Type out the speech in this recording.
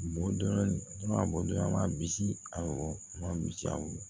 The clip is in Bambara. Bɔ a bɔ a ma bisi awɔ a ma bisi aw ye